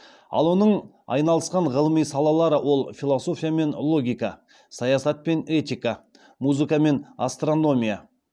ал оның айналысқан ғылыми салалары ол философия мен логика саясат пен этика музыка мен астрономия